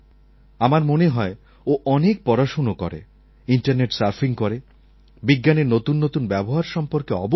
আমার মনে হয় ও অনেক পড়াশোনা করে ইন্টারনেট সার্ফিং করে বিজ্ঞানের নতুন নতুন ব্যবহার সম্পর্কে অবহিত